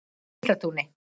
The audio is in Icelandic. Geislatúni